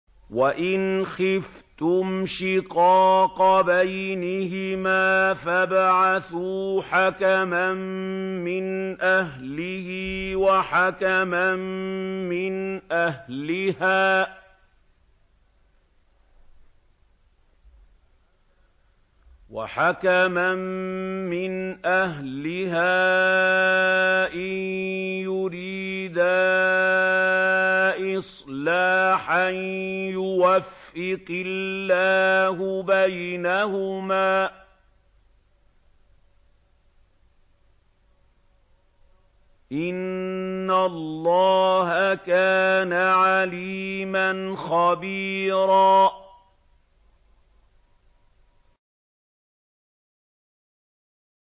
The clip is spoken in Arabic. وَإِنْ خِفْتُمْ شِقَاقَ بَيْنِهِمَا فَابْعَثُوا حَكَمًا مِّنْ أَهْلِهِ وَحَكَمًا مِّنْ أَهْلِهَا إِن يُرِيدَا إِصْلَاحًا يُوَفِّقِ اللَّهُ بَيْنَهُمَا ۗ إِنَّ اللَّهَ كَانَ عَلِيمًا خَبِيرًا